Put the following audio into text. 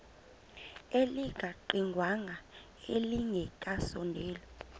elingaqingqwanga nelinge kasondeli